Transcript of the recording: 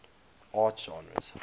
art genres